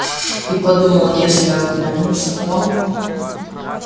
и подумал если оглянуться то